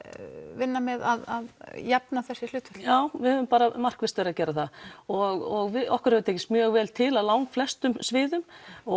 vinna með að jafna þessi hlutföll já við höfum markvisst verið að gera það og okkur hefur tekist mjög vel til á langflestum sviðum